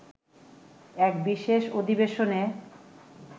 এক বিশেষ অধিবেশনে